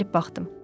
Əyilib baxdım.